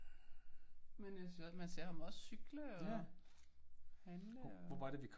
Men øh jeg synes også man ser ham også cykle og handle og